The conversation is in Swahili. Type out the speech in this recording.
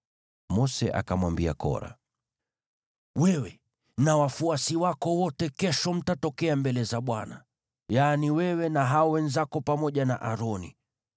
Mose akamwambia Kora, “Wewe na wafuasi wako wote kesho mtatokea mbele za Bwana : yaani wewe na hao wenzako, pamoja na Aroni.